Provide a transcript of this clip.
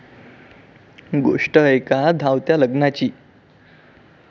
गोष्ट एका धावत्या लग्नाची...